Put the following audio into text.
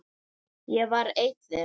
Ég var ein þeirra.